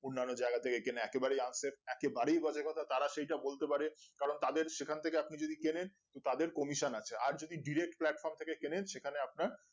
অন্যান্য জায়গা থেকে কেনা একেবারে এইতো unsaved একেবারেই বাজে কথা তারা সেইসব বলতে পারে কারণ তাদের সেখান থেকে আপনি যদি কেনেন তাদের কমিশন আছে আর যদি direct platform থেকে কেনেন সেখানে আপনার